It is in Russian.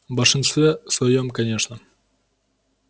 в большинстве своём конечно